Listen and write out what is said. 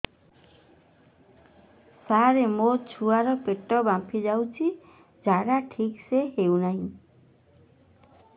ସାର ମୋ ଛୁଆ ର ପେଟ ଫାମ୍ପି ଯାଉଛି ଝାଡା ଠିକ ସେ ହେଉନାହିଁ